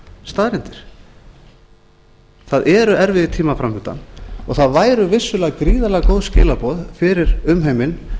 staðreyndir það eru erfiðir tímar framundan og það væru vissulega gríðarlega góð skilaboð fyrir umheiminn